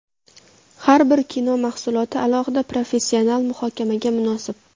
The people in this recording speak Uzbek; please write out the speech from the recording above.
Har bir kino mahsuloti alohida professional muhokamaga munosib.